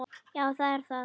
Já, það er það